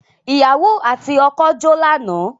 Ìyàwò àti ọkọ́ jó lánàá.